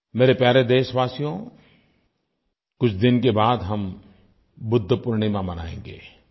मेरे प्यारे देशवासियों कुछ दिन के बाद हम बुद्ध पूर्णिमा मनायेंगे